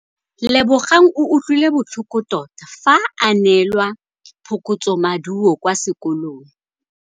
Lebogang o utlwile botlhoko tota fa a neelwa phokotsômaduô kwa sekolong.